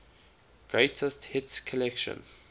greatest hits collection